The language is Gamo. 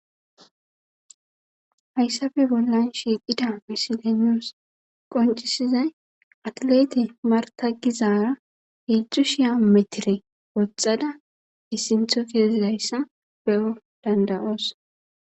hayssafe bollan shiiqida misilenoos qoncisizay atlete marta gizaara hildzu shiya metire woxxada issintho keezidayssa be7o dandayoos